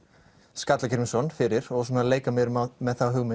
Skallagrímsson fyrir og leika mér með þá hugmynd